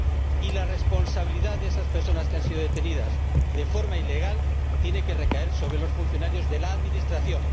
Y la responsabilidad por esas personas que han sido detenidas de forma ilegal tiene que recaer sobre los funcionarios de la Administración.